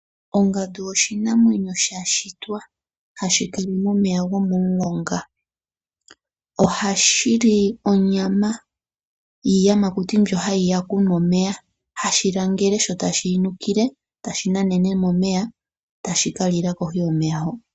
Ongandu oshinamwenyo sha shitwa hashi kala momeya gomomulonga, ohashi li onyama yiiyamakuti mbyo hayi ya okunwa omeya, hashi langele, sho tashi yi nukile tashi nanene momeya, tashi ka lila kohi yomeya ho.